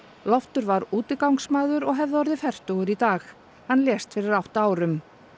Loftur var útigangsmaður og hefði orðið fertugur í dag hann lést fyrir átta árum